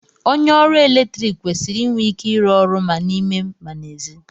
onye oru eletrik kwesịrị inwe ike ịrụ ọrụ ma n'ime ma n'èzí